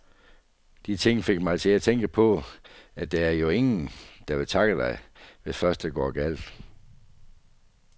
De ting fik mig til at tænke på, at der er jo ingen, der vil takke dig, hvis først det går galt.